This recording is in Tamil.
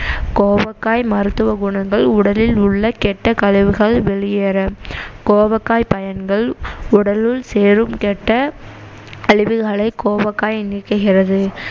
கோவக்காய் மருத்துவ குணங்கள் உடலில் உள்ள கெட்ட கழிவுகள் வெளியேற கோவக்காய் பயன்கள் உடலுள் சேரும் கெட்ட கழிவுகளை கோவக்காய் நீக்குகிறது